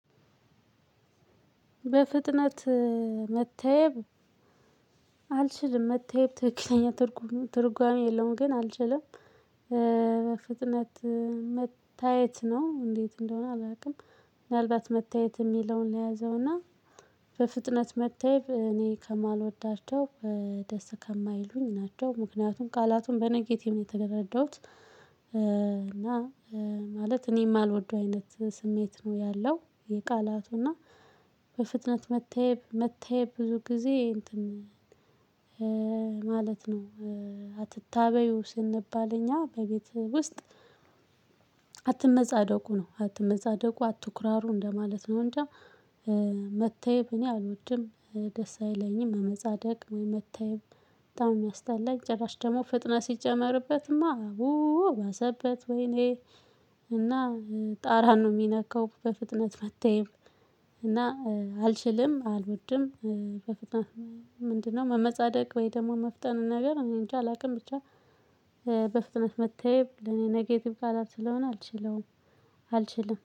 በፍጥነት መታየብ አልችልም መታየብ ተክለኛ ትርጉም የለውም። ግን አልችልም በፍጥነት መታየት ነው እንዴት እንደሆነ አላውቅም። ምናልባት መታየት የሚለውን ልያዘውና በፍጥነት መታየብ እኔ ከማልወዳቸው ደስ ከማይሉኝ ናቸው። ምክንያቱም ቃላቱን በነጌትቭ ነው የተረዳሁት። እና ማለት እኔም ማልወደው አይነት ስሜት ነው ያለው። የቃላቱ እና በፍጥነት መታየብ መታየብ ብዙ ጊዜ እንትን ማለት ነው። አትታበዩ ስንባል እኛ በቤት ውስጥ። አትመጻደቁ ነው አትመጻደቁ አትኩራሩ እንደማለት ነው። እንጃ። መተየብ እኔ አልወድም ደስ አይለኝም። መመጻደቅ ወይ መታየት? በጣም የሚያስታላኝ ጭራሽ ደግሞ ፍጥነት ሲጨመርበትማ ኡ ባሳበት ወይኔ እና ጣራ ነው የሚነካው በፍጥነት መታየብ እና አልችልም አልወድም። ምንድነው? መመጻደቅ ወይ ደግሞ መፍጠን ነገር እኔ እንጃ አላውቅም ብቻ። በፍጥነት መታየብ ለኔ ኔጌቲቭ ቃላት ስለሆነ አልችለውም አልችልም